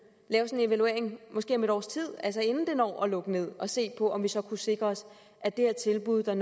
en evaluering måske om et års tid altså inden det når at lukke ned og se på om vi så kunne sikre os at det her tilbud der